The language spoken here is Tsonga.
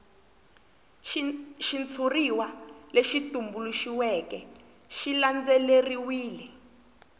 xitshuriwa lexi tumbuluxiweke xi landzelerile